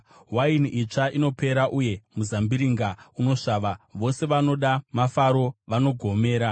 Waini itsva inopera uye muzambiringa unosvava; vose vanoda mafaro vanogomera.